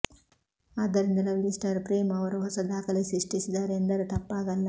ಆದ್ದರಿಂದ lovely star Prem ಅವರು ಹೊಸ ದಾಖಲೆ ಸೃಷ್ಟಿಸಿದ್ದಾರೆ ಎಂದರೂ ತಪ್ಪಾಗಲ್ಲ